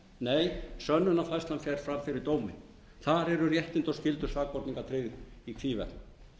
þingmannanefnd nei sönnunarfærslan fer fram fyrir dómi þar eru réttindi og skyldur sakborninga tryggð í hvívetna